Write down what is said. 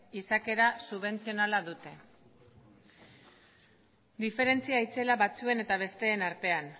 izaera subentzionala dute diferentzia itzela batzuen eta besteen artean